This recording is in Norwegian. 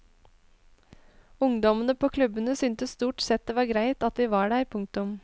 Ungdommene på klubbene syntes stort sett det var greit at vi var der. punktum